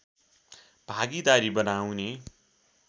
भागीदारी बनाउने